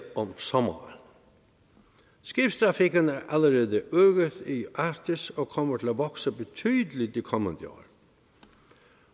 om sommeren skibstrafikken er allerede øget i arktis og kommer til at vokse betydeligt de kommende år